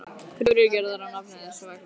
Kröfur eru gerðar í nafni þess og vegna þess.